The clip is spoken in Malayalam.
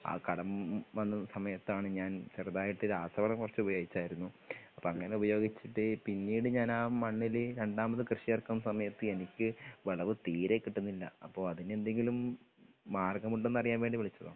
ആ കടം വന്ന സമയത്താണ് ഞാൻ ചെറുതായിട്ട് രാസവളം കൊറച്ച് ഉപയോഗിച്ചായിരുന്നു. അപ്പോ അങ്ങനെ ഉപയോഗിച്ചിട്ട് പിന്നീട് ഞാനാ മണ്ണില് രണ്ടാമതും കൃഷിയിറക്കുന്ന സമയത്ത് എനിക്ക് വിളവ് തീരെ കിട്ടുന്നില്ല അപ്പോ അതിന് എന്തെങ്കിലും മാർഗമുണ്ടോന്ന് അറിയാൻ വേണ്ടി വിളിച്ചതാ